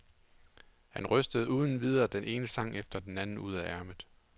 Han rystede uden videre den ene sang efter den anden ud af ærmet.